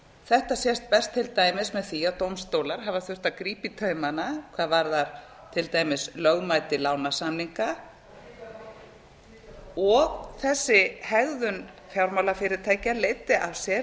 þetta sést best til dæmis með því að dómstólar hafa þurft að grípa í taumana hvað varðar til dæmis lögmæti lánasamninga og þessi hegðun jfármálafyrirætkja leiddi af sér